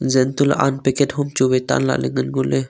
zan to ley aan packet hom chu vai tahlakey ngan ngoley.